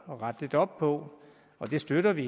at rette lidt op på og det støtter vi